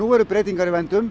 eru breytingar í vændum